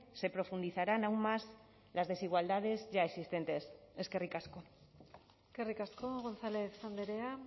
se profundizarán aún más las desigualdades ya existentes eskerrik asko eskerrik asko gonzález andrea